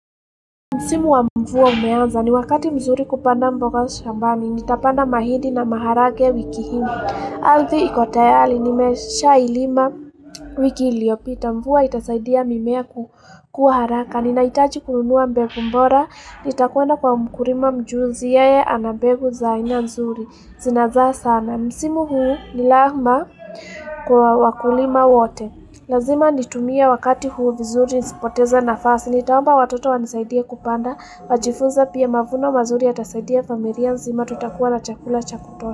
Msimu wa mvua umeanza ni wakati mzuri kupanda mboga shambani, nitapanda mahidi na maharage wiki hii. Arthi iko tayali, nimesha ilima wiki iliyopita, mvua itasaidia mimea kukua haraka. Ninaitaji kununua mbegu bora, nitakwenda kwa mkurima mjuzi yeye ana mbegu za aina nzuri. Zinazaa sana. Msimu huu ni lahma kwa wakulima wote. Lazima nitumia wakati huu vizuri, nisipoteza na fasi, nitaomba watoto wanisaidie kupanda, wajifunze pia mavuna mazuri yatasaidia familia nzima tutakuwa na chakula chakutosha.